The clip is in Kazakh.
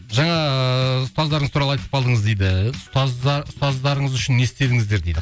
жаңа ыыы ұстаздарыңыз туралы айтып қалдыңыз дейді ұстаздарыңыз үшін не істедіңіздер дейді